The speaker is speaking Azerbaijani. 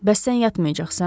Bəs sən yatmayacaqsan?